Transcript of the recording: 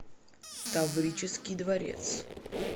таврический дворец